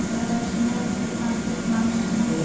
A senhora já tinha filhos nascidos lá em Pernambuco?